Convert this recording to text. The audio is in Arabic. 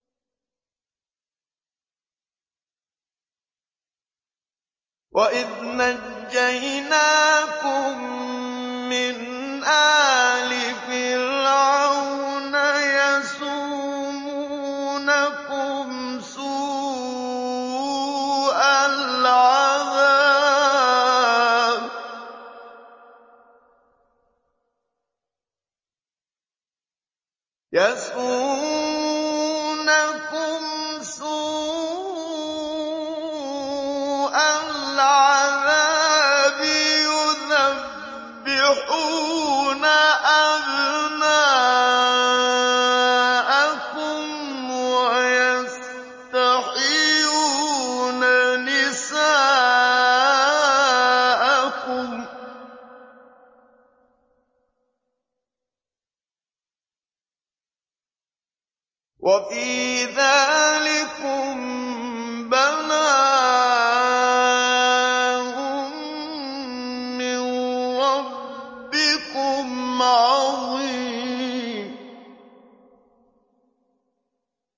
وَإِذْ نَجَّيْنَاكُم مِّنْ آلِ فِرْعَوْنَ يَسُومُونَكُمْ سُوءَ الْعَذَابِ يُذَبِّحُونَ أَبْنَاءَكُمْ وَيَسْتَحْيُونَ نِسَاءَكُمْ ۚ وَفِي ذَٰلِكُم بَلَاءٌ مِّن رَّبِّكُمْ عَظِيمٌ